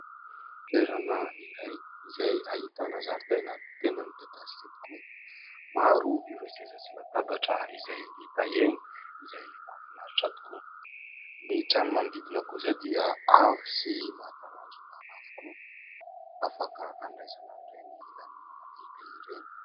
Toerana iray izay ahitana zaridaina tena midadasika tokoa. Maro ireo seza sy latabatra izay hita eny izay mahafinaritra tokoa. Ny trano manodidina kosa dia avo sy mahatalanjona avokoa, afaka handraisana an'ireny lanonana lehibe ireny.